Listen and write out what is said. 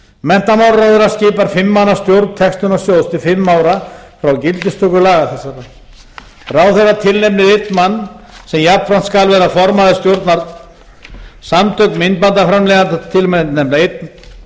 menntamálaráðherra skipar fimm manna stjórn textunarsjóðs til fimm ára frá gildistöku laga þessara ráðherra tilnefnir einn mann sem jafnframt skal vera formaður stjórnar samtök myndbandaframleiðenda tilnefna einn